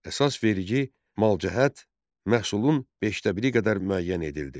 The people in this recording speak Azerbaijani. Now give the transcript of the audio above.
Əsas vergi malcəhət, məhsulun beşdəbiri qədər müəyyən edildi.